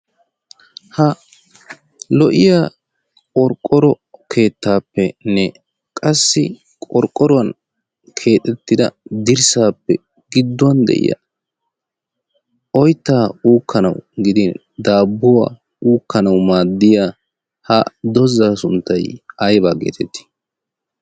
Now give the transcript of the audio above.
ha lo''iya qorqqoro keettaappenne qassi qorqqoruwan keexettida dirssaappe gidduwan de'iya oyttaa uukkanawu gidin daabbuwaa uukkanawu maaddiya ha dozzaa sunttay aybaa geetettii